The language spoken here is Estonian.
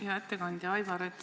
Hea ettekandja, Aivar!